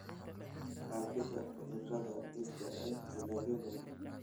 Faafidda cudurrada dhirta ee dalagyo badan.